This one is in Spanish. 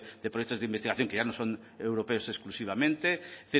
de proyectos de investigación que ya no son europeos exclusivamente es